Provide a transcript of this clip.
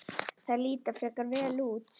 Engin formleg svör hafa borist.